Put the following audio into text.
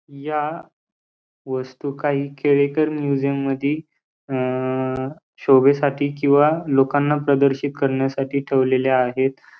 या वस्तू काही केळेकर म्यूजियम मधी अ शोभेसाठी किंवा लोकांना प्रदर्शित करण्यासाठी ठेवलेल्या आहेत.